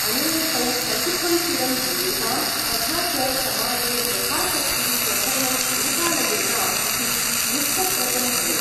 अनेन तौ ससुखं चिरं जीवेतां तथा च समाजे यथाशक्ति स्वधर्मम् अनुपालयेताम् इति निश्चप्रचं भवेत्।